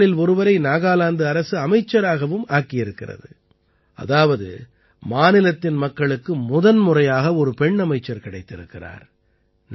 இவர்களில் ஒருவரை நாகாலாந்து அரசு அமைச்சராகவும் ஆக்கியிருக்கிறது அதாவது மாநிலத்தின் மக்களுக்கு முதன்முறையாக ஒரு பெண் அமைச்சர் கிடைத்திருக்கிறார்